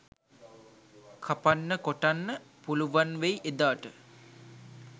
කපන්න කොටන්න පුළුවන් වෙයි එදාට.